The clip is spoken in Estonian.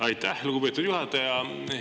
Aitäh, lugupeetud juhataja!